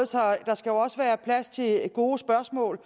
der skal jo også være plads til gode spørgsmål